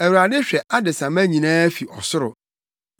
Awurade hwɛ adesamma nyinaa fi ɔsoro.